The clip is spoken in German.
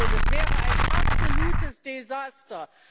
Das wäre ein absolutes Desaster.